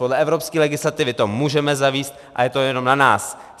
Podle evropské legislativy to můžeme zavést a je to jenom na nás.